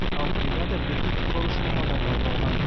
ал бригада білікті құтқарушы мамандардан құралған